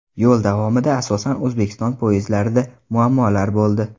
Yo‘l davomida asosan O‘zbekiston poyezdlarida muammolar bo‘ldi.